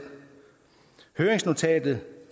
høringsnotatet